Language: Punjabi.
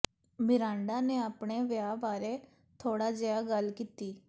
ਮਿਰਾਂਡਾ ਨੇ ਆਪਣੇ ਵਿਆਹ ਬਾਰੇ ਥੋੜ੍ਹਾ ਜਿਹਾ ਗੱਲ ਕੀਤੀ